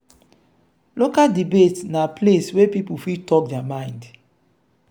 local debates na place wey people fit talk their mind.